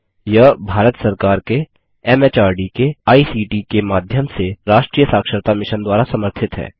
यह भारत सरकार के एमएचआरडी के आईसीटी के माध्यम से राष्ट्रीय साक्षरता मिशन द्वारा समर्थित है